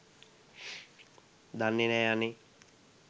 දන්නෙ නෑ අනේ